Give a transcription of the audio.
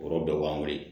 O yɔrɔ bɛɛ b'an wele